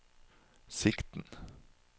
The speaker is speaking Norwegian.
sikten